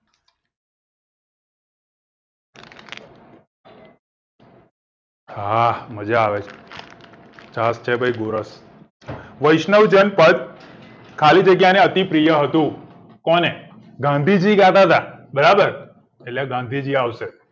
હા મજા આવે છે છાસ છે ભાઈ ગોરસ વૈષ્ણવ જન પદ ખાલી જગ્યા ને અતિ પ્રિય હતું કોને ગાંધી જી ગાતા હતા બરાબર એટલે ગાંધી જી આવશે